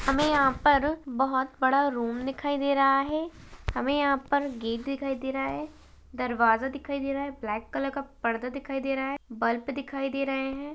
हमें यहाँ पर बहोत बड़ा रूम दिखाई दे रहा है हमें यहाँ पर गेट दिखाई दे रहा है दरवाज़ा दिखाई दे रहा है ब्लैक कलर का पर्दा दिखाई दे रहा है बल्ब दिखाई दे रहें हैं।